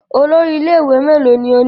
Olórí ilé-ìwé mélòó ni ó ní?